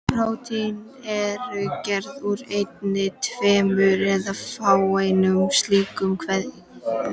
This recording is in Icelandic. Prótín eru gerð úr einni, tveimur eða fáeinum slíkum keðjum.